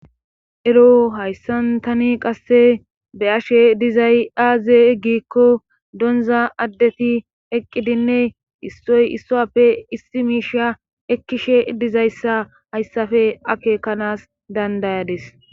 eroo hayssan tani qasse be7ashe dizay aaze giikko donza addeti eqqidinne issoy issuwappe issi miisha ekkishe dizayssa hayssafe akeekanas dandayades.